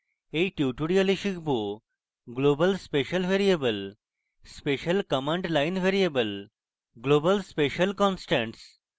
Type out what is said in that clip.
in tutorial আমরা শিখব